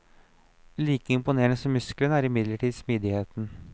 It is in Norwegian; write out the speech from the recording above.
Like imponerende som musklene er imidlertid smidigheten.